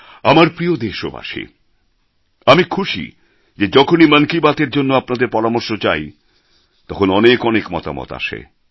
আমার প্রিয় দেশবাসী আমি খুশি যে যখনই মন কি বাত এর জন্য আপনাদের পরামর্শ চাই তখন অনেক মতামত আসে